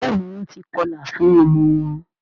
béèni Wón tí kọla fún ọmọ wón